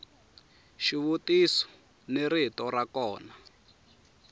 xivutiso ni rito ra kona